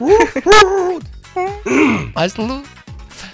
айсұлу